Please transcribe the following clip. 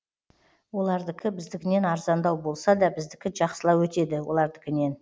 олардікі біздікінен арзандау болса да біздікі жақсылау өтеді олардікінен